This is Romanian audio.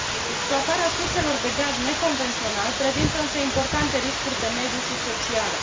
Exploatarea surselor de gaz neconvențional prezintă, însă, importante riscuri de mediu și sociale.